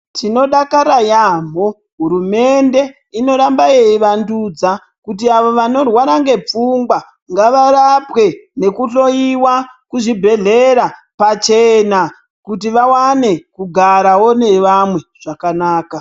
Tinodakara yaamho hurumende inoramba yeivandudza kuti avo vanorwara ngepfungwa ngavarapwe nekuhloiwa kuzvibhedhlera pachena kuti vawane kugarawo nevamwe zvakanaka.